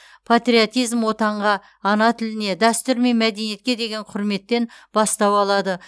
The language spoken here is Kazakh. патриотизм отанға ана тіліне дәстүр мен мәдениетке деген құрметтен бастау алады